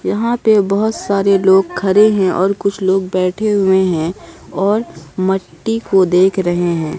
यहां पे बहुत सारे लोग खड़े हैं और कुछ लोग बैठे हुए हैं और मट्टी को देख रहे हैं।